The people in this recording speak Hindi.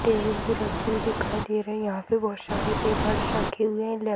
टेबल पे रखी हुई दिखाई दे रही है यहाँ पर बहुत सारे पेपर्स रखे हुए हैं लेफ्ट --